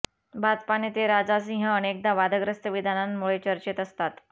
भाजपा नेते राजा सिंह अनेकदा वादग्रस्त विधानांमुळे चर्चेत असतात